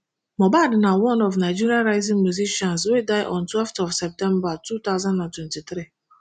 mohbad na one of nigeria rising musicians wey die on twelveth of september two thousand and twenty-three